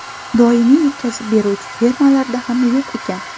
Doimiy yetkazib beruvchi firmalarda ham yo‘q ekan.